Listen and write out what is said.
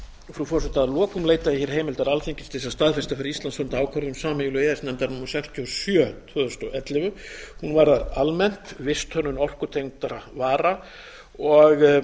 frú forseti að lokum leita ég hér heimildar alþingis til þess að staðfesta fyrir íslands hönd ákvörðun sameiginlegu e e s nefndarinnar númer sextíu og sjö tvö þúsund og ellefu hún varðar almennt visthönnun orkutengdra vara og